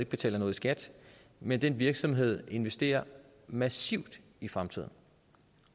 betaler noget i skat men den virksomhed investerer massivt i fremtiden